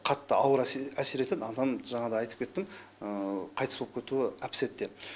қатты ауыр әсер етеді адам жаңа да айтып кеттім қайтыс болып кетуі әп сәтте